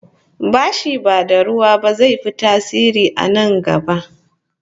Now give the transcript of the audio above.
Bashi ba da ruwa ba zai fi tasiri a na gaba